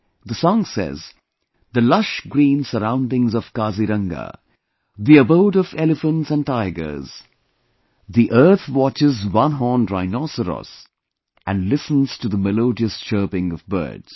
This song says, the lush green surroundings of Kaziranga, the abode of elephants and tigers, the Earth watches one horned rhinoceros and listens to the melodious chirping of birds